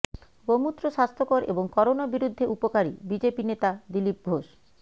গোমুত্র স্বাস্থ্যকর এবং করোনা বিরুদ্ধে উপকারিঃ বিজেপি নেতা দীলিপ ঘোষ